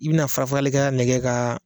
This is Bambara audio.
I bɛna farafarali kɛlan ne kɛ ka